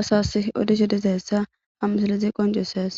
asas odishe dizayissa ha msilizi qoncisees